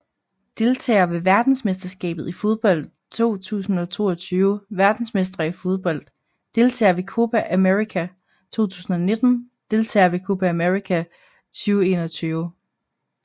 Deltagere ved verdensmesterskabet i fodbold 2022 Verdensmestre i fodbold Deltagere ved Copa América 2019 Deltagere ved Copa América 2021